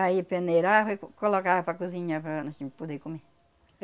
Aí peneirava e co colocava para cozinhar para para poder comer.